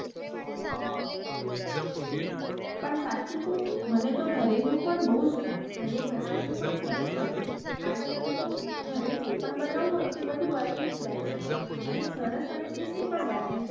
પણ સાચું કઉ મને તો ઘરે નું પણ બઉ જ ભાવે ઘરે બનાવેલું પણ સરસ બને છે આજ કલ તો ઘર જે પણ બનવું હોય ને તે બધું બની જ જાય છે અને સરસ અને tasty પણ બને છે.